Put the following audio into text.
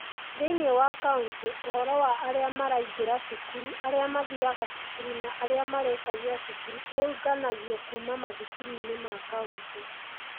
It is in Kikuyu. Thĩinĩ wa kaunti, ũhoro wa arĩa maraingĩra cukuru, arĩa mathiaga cukuru, na arĩa marĩkagia cukuru ũũnganagio kuuma mathukuruinĩ ma kaunti.